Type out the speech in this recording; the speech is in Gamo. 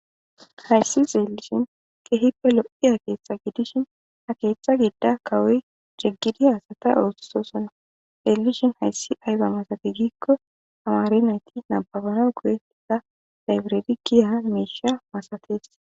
hayssi xeelishin kehippe lo7iya akeeththa gidishin a keeththa giida kawoy jeggidi haasata ooththusoson xeellishin hayssi ayba masatigikko amaari nayti nababana goyei sa daybiredi giya meesha masates